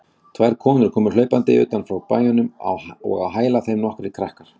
Tvær konur komu hlaupandi utan frá bæjunum og á hæla þeim nokkrir krakkar.